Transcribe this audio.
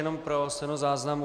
Jenom pro stenozáznam.